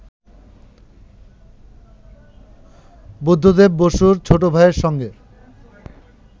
বুদ্ধদেব বসুর ছোট ভাইয়ের সঙ্গে